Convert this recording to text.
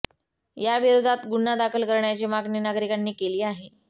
याविरोधात गुन्हा दाखल करण्याची मागणी नागरिकांनी केली आहे